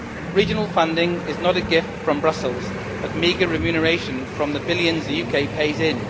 Regional funding is not a gift from Brussels, but meagre remuneration from the billions the UK pays in.